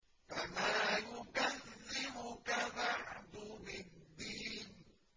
فَمَا يُكَذِّبُكَ بَعْدُ بِالدِّينِ